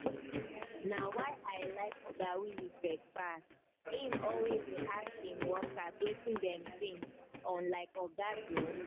na why i like oga winifred pass im always dey ask im workers wetin dem think unlike oga joe